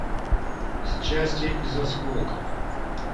счастье из осколков